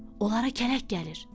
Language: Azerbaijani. Onlara kələk gəlir.